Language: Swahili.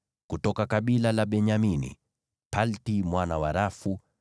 kutoka kabila la Benyamini, Palti mwana wa Rafu;